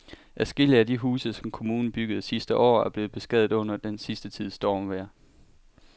Adskillige af de huse, som kommunen byggede sidste år, er blevet beskadiget under den sidste tids stormvejr.